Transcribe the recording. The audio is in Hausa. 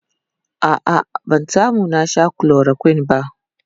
a'a ban samu na Sha chloroquine ba